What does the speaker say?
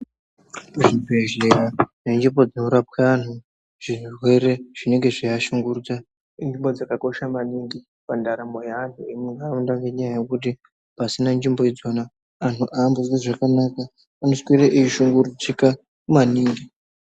Kuzvibhezhera nenzvimbo dzinorapwa anhu zvirwere zvinenge zveiashungurudza, inzvimbo dzakakosha maningi pandaramo yeanhu emunharaunda, ngenyaya yekuti pasina nzvimbo idzona, anhu aambozwi zvakanaka. Anoswere eishungurudzika maningi.